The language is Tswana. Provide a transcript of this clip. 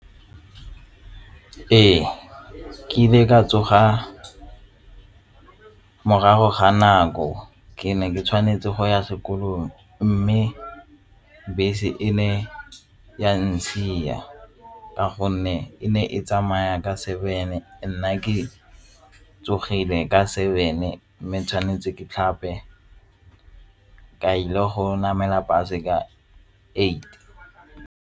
Ee, ke ile ka tsoga morago ga nako ke ne ke tshwanetse go ya sekolong mme bese e ne ya ntshiya ka gonne e ne e tsamaya ka seven-e nna ke tsogile ka seven-e mme tshwanetse ke tlhape ka ile go namela bus-e ka eight.